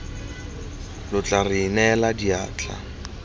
lo tla re inela diatla